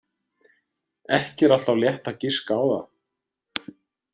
Ekki er alltaf létt að giska á það.